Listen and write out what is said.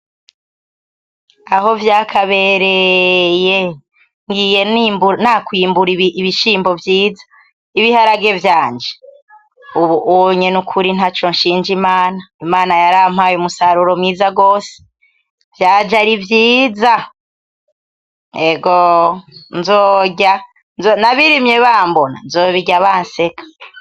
Aho vyakabereye! ngiye nakwimbura ibiharage vyiza, ibiharage vyanje, ubu unye nukuri ntaco nshinja imana, imana yarampaye umusaruro mwiza gose! Vyaje ari vyiza, egoho nzorya nabirimye bambona nzobirya bantwenga.